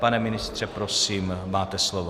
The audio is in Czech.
Pane ministře, prosím, máte slovo.